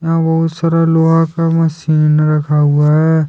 यहां बहुत सारा लोहा का मशीन रखा हुआ है।